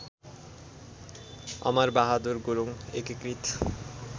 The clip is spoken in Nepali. अमरबहादुर गुरुङ एकीकृत